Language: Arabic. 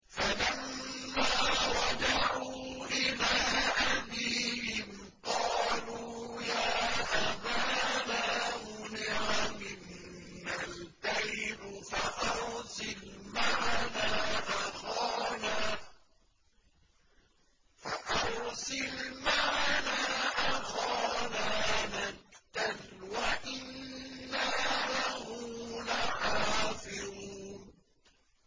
فَلَمَّا رَجَعُوا إِلَىٰ أَبِيهِمْ قَالُوا يَا أَبَانَا مُنِعَ مِنَّا الْكَيْلُ فَأَرْسِلْ مَعَنَا أَخَانَا نَكْتَلْ وَإِنَّا لَهُ لَحَافِظُونَ